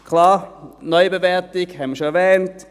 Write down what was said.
Klar: Die Neubewertung haben wir bereits erwähnt;